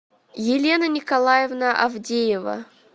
елена николаевна авдеева